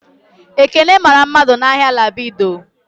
Ekeke mara mmadu n'Ahia Ladipo